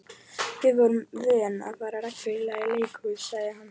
Við vorum vön að fara reglulega í leikhús, sagði hann.